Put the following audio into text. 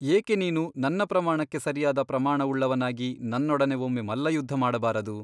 ಏಕೆ ನೀನು ನನ್ನ ಪ್ರಮಾಣಕ್ಕೆ ಸರಿಯಾದ ಪ್ರಮಾಣವುಳ್ಳವನಾಗಿ ನನ್ನೊಡನೆ ಒಮ್ಮೆ ಮಲ್ಲಯುದ್ಧ ಮಾಡಬಾರದು?